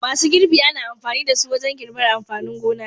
Masu girbi ana amfani da su wajen girbar amfanin gona.